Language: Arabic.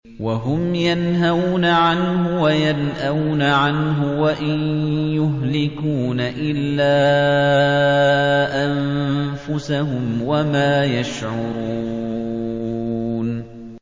وَهُمْ يَنْهَوْنَ عَنْهُ وَيَنْأَوْنَ عَنْهُ ۖ وَإِن يُهْلِكُونَ إِلَّا أَنفُسَهُمْ وَمَا يَشْعُرُونَ